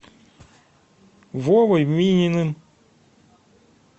вовой мининым